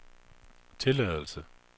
tilladelse